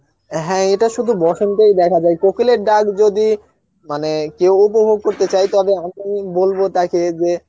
অ্যাঁ হ্যাঁ এটা সুধু বসন্ত এই দেখা যায় কোকিলের ডাক যদি মানে কেউ উপভোগ করতে চায় তবে আমি বলব তাকে যে